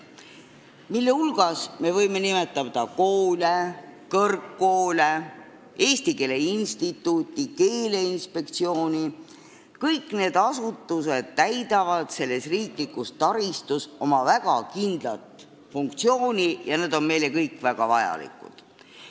Nende hulgas me võime nimetada koole, kõrgkoole, Eesti Keele Instituuti, Keeleinspektsiooni – kõik need asutused täidavad selles riiklikus taristus oma väga kindlat funktsiooni ja nad on kõik meile väga vajalikud.